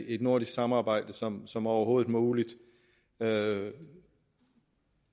et nordisk samarbejde som som overhovedet muligt med